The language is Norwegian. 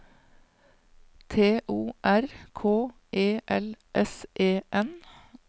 T O R K E L S E N